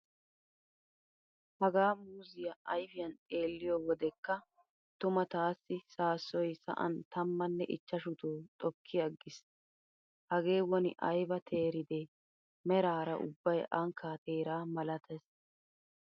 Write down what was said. Hagaa muuzziya ayfiyan xeelliyo wodeka tuma taassi saassoy sa'an tammanne ichchashuto xokki aggiis. Hagee woni ayba teeride meraara ubbay ankkaa teeraa malatees.